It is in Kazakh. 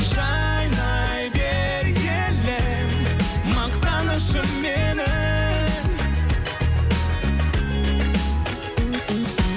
жайнай бер елім мақтанышым менің